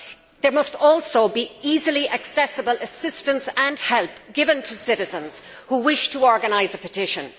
There must also be easily accessible assistance and help given to citizens who wish to organise a petition.